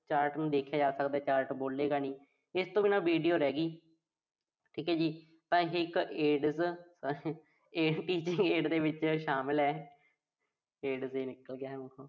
chart ਨੂੰ ਦੇਖਿਆ ਜਾ ਸਕਦਾ chart ਬੋਲੇਗਾ ਨੀਂ। ਇਸ ਤੋਂ ਬਿਨਾਂ video ਰਹਿਗੀ। ਠੀਕ ਆ ਜੀ। ਤਾਂ ਇਹੇ ਇੱਕ Aids Att aid ਦੇ ਵਿੱਚ ਸ਼ਾਮਲ ਆ। Aids ਨਿਕਲ ਗਿਆ ਮੂੰਹ ਚੋਂ।